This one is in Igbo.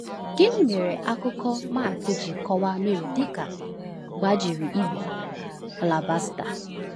Gịnị mere akụkọ Mark ji kọwaa Mary dị ka “gbajiri igbe alabaster”?